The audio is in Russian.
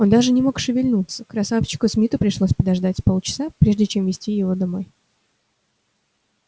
он не мог даже шевельнуться красавчику смиту пришлось подождать с полчаса прежде чем вести его домой